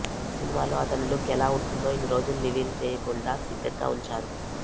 ఈ సినిమాలో అతని లుక్ ఎలా ఉంటుందో ఇన్ని రోజులు రివీల్ చెయ్యకుండా సీక్రెట్ గా ఉంచారు